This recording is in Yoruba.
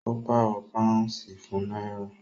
Ó pàrọ̀ pàúnsì fún náírà